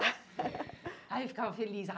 Aí eu ficava feliz.